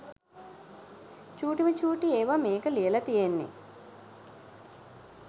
චූටිම චූටි ඒවා මේක ලියලා තියෙන්නේ